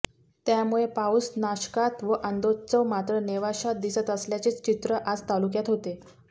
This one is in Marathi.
त्यामुळे पाऊस नाशकात व आनंदोत्सव मात्र नेवाशात दिसत असल्याचेच चित्र आज तालुक्यात होते